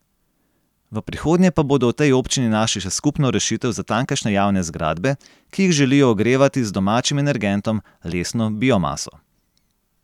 V prihodnje pa bodo v tej občini našli še skupno rešitev za tamkajšnje javne zgradbe, ki jih želijo ogrevati z domačim energentom, lesno biomaso.